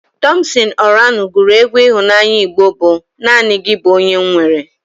Tọmpsịn Ọranụ gụrụ egwu ịhụnanya Igbo bụ "Naanị gị bụ onye m nwere"